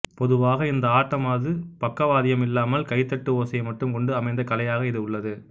பொதுவாக இந்த ஆட்டமாது பக்கவாதியம் இல்லாமல் கைதட்டு ஓசையை மட்டும் கொண்டு அமைந்த கலையாக இது உள்ளது